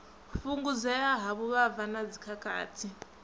fhungudzea ha vhuvhava na dzikhakhathi